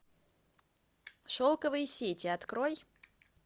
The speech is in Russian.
шелковые сети открой